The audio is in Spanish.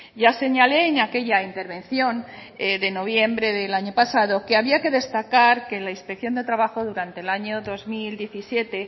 ya señalé en aquella intervención de noviembre del año pasado que había que destacar que la inspección de trabajo durante el año dos mil diecisiete